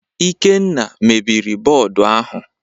Ikenna mebiri bọọdụ ahụ